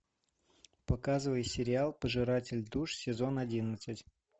показывай сериал пожиратель душ сезон одиннадцать